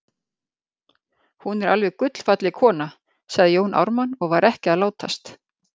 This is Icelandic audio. Hún er alveg gullfalleg kona, sagði Jón Ármann og var ekki að látast.